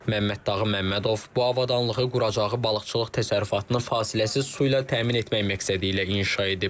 Məmməddağı Məmmədov bu avadanlığı quracağı balıqçılıq təsərrüfatını fasiləsiz su ilə təmin etmək məqsədi ilə inşa edib.